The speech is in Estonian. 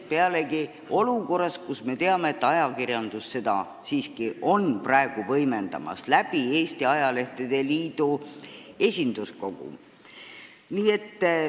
Pealegi olukorras, kus me teame, et ajakirjandus seda praegu võimendab Eesti Ajalehtede Liidu esinduskogu kaudu.